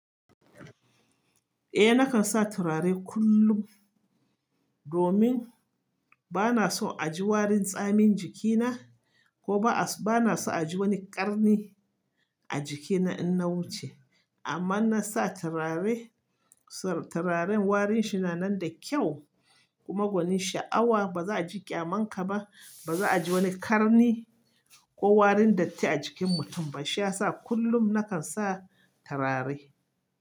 Eh nakan sa turare kullum, domin ba na so a ji warin tsamin jikina ko ba na so a ji wani ƙarni a jikina in na wuce. Amma na sa turare, turaren warin shi na nan da kyau kuma gwanin sha'awa ba za a ji ƙyamanka ba, ba za a ji wani ƙarni ko warin datti a jikin mutum ba. Shi ya sa kullum nakan sa turare.